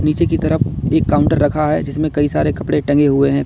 पीछे की तरफ एक काउंटर रखा है जिसमें कई सारे कपड़े टंगे हुए हैं।